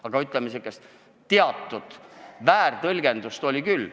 Aga, ütleme, teatud väärtõlgendust oli küll.